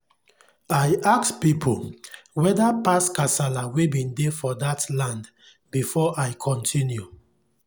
i ask pipu whetherpast kasala wen bin dey for dat land before i continue